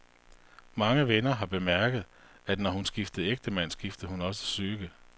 Mange venner har bemærket, at når hun skiftede ægtemand, skiftede hun også psyke.